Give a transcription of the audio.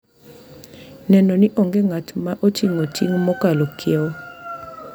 Neno ni onge ng’at ma oting’o ting’ mokalo kiewo.